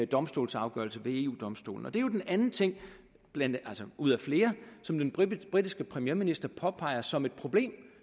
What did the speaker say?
domstolsafgørelse ved eu domstolen og det er jo den anden ting ud af flere som den britiske premierminister påpeger som et problem